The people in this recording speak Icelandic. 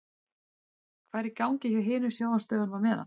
Hvað er í gangi hjá hinum sjónvarpsstöðvunum á meðan?